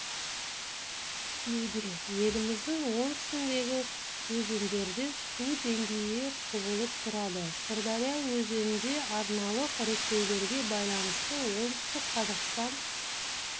күтілуде еліміздің оңтүстігіндегі өзендерде су деңгейі құбылып тұрады сырдария өзенінде арналық реттеулерге байланысты оңтүстік қазақстан